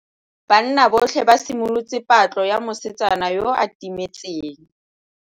Banna botlhê ba simolotse patlô ya mosetsana yo o timetseng.